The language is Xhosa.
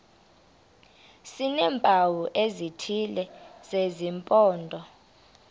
sineempawu ezithile zesimpondo